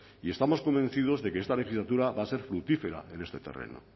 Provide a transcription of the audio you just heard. y estamos convencidos de que esta legislatura va a ser fructífera en este terreno